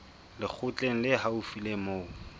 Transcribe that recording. lekgotleng le haufi le moo